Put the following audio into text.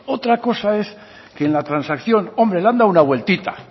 otra cosa es que en la transacción hombre le han dado una vueltita